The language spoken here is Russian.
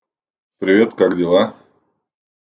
привет как дела